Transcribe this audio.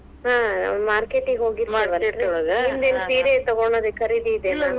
ಹಾ market ಗೆ ಹೋಗಿದ್ವಲ್ಲಾ, ನೀಮ್ದೇನ್ ಸೀರೆ ತಗೋಳೊದ್ ಖರೀದಿ ಇದೆನಾ?